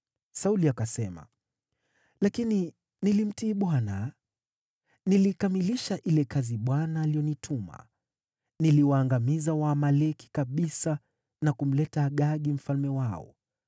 Sauli akasema, “Lakini nilimtii Bwana . Nilikamilisha ile kazi ambayo Bwana alinituma. Niliwaangamiza Waamaleki kabisa na kumleta Agagi mfalme wao.